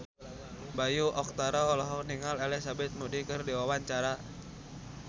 Bayu Octara olohok ningali Elizabeth Moody keur diwawancara